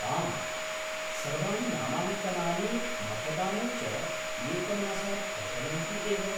आम्, सर्वाणि नामाङ्कनानि मतदानं च एकमासात् प्रचलन्ति एव।